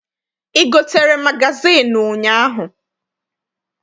I gotere magazịịnụ ụnyaahụ?